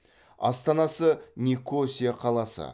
астанасы никосия қаласы